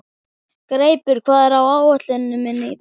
Greipur, hvað er á áætluninni minni í dag?